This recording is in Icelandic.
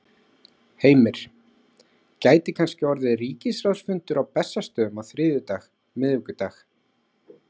Heimir: Gæti kannski orðið ríkisráðsfundur á Bessastöðum á þriðjudag, miðvikudag?